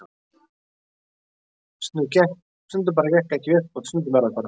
Þetta bara gekk ekki upp og stundum er það þannig.